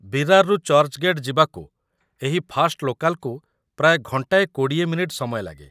ବିରାରରୁ ଚର୍ଚ୍ଚ୍‌ଗେଟ୍ ଯିବାକୁ ଏହି ଫାଷ୍ଟ୍‌ ଲୋକାଲ୍‌କୁ ପ୍ରାୟ ଘଣ୍ଟାଏ ୨୦ ମିନିଟ୍ ସମୟ ଲାଗେ ।